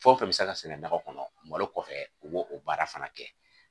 Fɛn o fɛn bɛ se ka sɛnɛ nakɔ kɔnɔ malo kɔfɛ u b'o o baara fana kɛ.